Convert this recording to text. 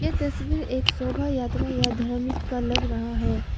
यह तस्वीर एक शोभा यात्रा या धार्मिक का लग रहा है।